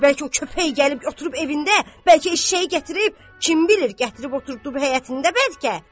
Get gör bəlkə o köpək gəlib oturub evində, bəlkə eşşəyi gətirib, kim bilir, gətirib oturtduv həyətində bəlkə?